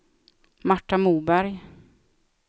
Marta Moberg